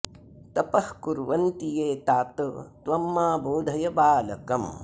तपः कुर्वन्ति ये तात त्वं मां बोधय बालकम्